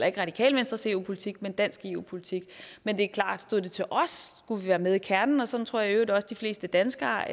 ikke radikale venstres eu politik men dansk eu politik men det er klart stod til os skulle vi være med i kernen og sådan tror jeg i øvrigt også de fleste danskere